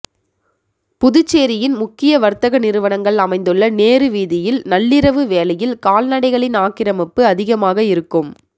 புதுச்சேரியின் முக்கிய வர்த்தக நிறுவனங்கள் அமைந்துள்ள நேரு வீதியில் நள்ளிரவு வேளையில் கால்நடைகளின் ஆக்கிரமிப்பு அதிகமாக இருக்கும்